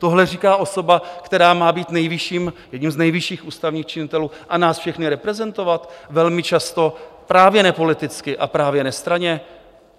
Tohle říká osoba, která má být jedním z nejvyšších ústavních činitelů a nás všechny reprezentovat velmi často právě nepoliticky a právě nestranně?